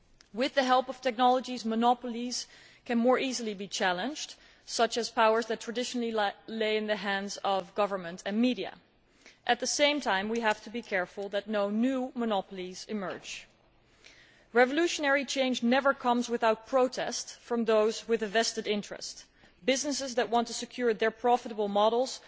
With the help of technology, it is easier to challenge monopolies, including powers that have traditionally lain in the hands of government and media. At the same time we have to be careful that no new monopolies emerge. Revolutionary change never comes without protest from those with a vested interest businesses that want to secure their profitable models